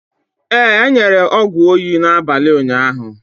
Ee, e nyere ọgwụ oyi n'abalị ụnyaahụ.